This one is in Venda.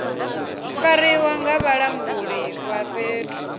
fariwa nga vhalanguli vha fhethu